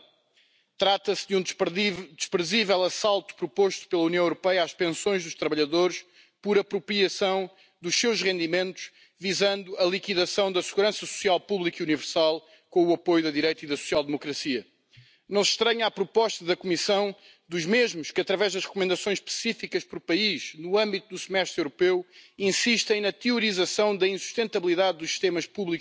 Wir freuen uns, dass die Lebenserwartung unserer europäischen Bürger weiter zunimmt. Von Generation zu Generation steigt im europäischen Durchschnitt die Lebenserwartung um drei Jahre an Das heißt, mein Jahrgang wird im Durchschnitt sechs Jahre älter, als der Opa geworden ist, und mein